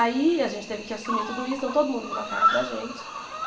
Aí a gente teve que assumir tudo isso, então todo mundo virou a cara para a gente.